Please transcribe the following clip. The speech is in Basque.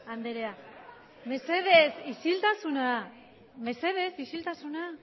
anderea mesedez isiltasuna